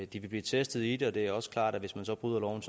de vil blive testet i det og det er også klart at hvis man så bryder loven